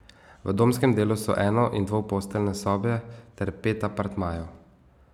V domskem delu so eno in dvoposteljne sobe ter pet apartmajev.